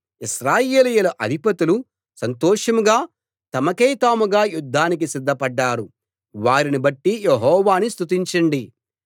ఇశ్రాయేలీయుల అధిపతులు సంతోషంగా తమకైతాముగా యుద్ధానికి సిద్ధపడ్డారు వారిని బట్టి యెహోవాను స్తుతించండి